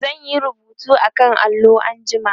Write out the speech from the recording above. zan Yi rubutu akan allo anjima